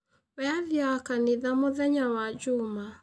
Wee aathiaga kanitha mũthenya wa njuuma.